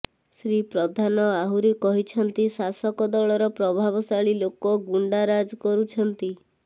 ଶ୍ରୀ ପ୍ରଧାନ ଆହୁରି କହିଛନ୍ତି ଶାସକ ଦଳର ପ୍ରଭାବଶାଳୀ ଲୋକ ଗୁଣ୍ଡାରାଜ କରୁଛନ୍ତି